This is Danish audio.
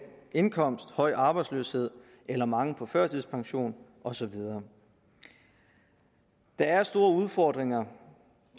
indkomst høj arbejdsløshed eller mange på førtidspension og så videre der er store udfordringer